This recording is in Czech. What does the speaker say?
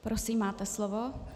Prosím, máte slovo.